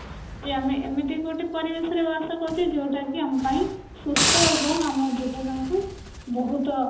ଆମେ ଏମିତି ଗୋଟେ ପରିବେଶରେ ବାସ କରୁଛେ ଯୋଉଟା କି ଆମ ପାଇଁ ସୁସ୍ଥ ଏବଂ ଆମ ଜୀବନକୁ ବହୁତ